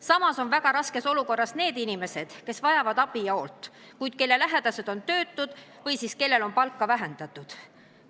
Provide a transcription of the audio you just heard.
Samas on väga raskes olukorras need inimesed, kes vajavad abi ja hoolt, kuid kelle lähedased on töötud või siis kellel on palka vähendatud.